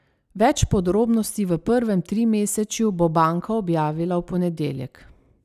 Več podrobnosti v prvem trimesečju bo banka objavila v ponedeljek.